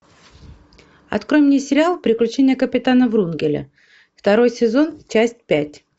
открой мне сериал приключения капитана врунгеля второй сезон часть пять